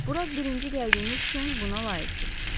Bura birinci gəldiyiniz üçün buna layiqsiz.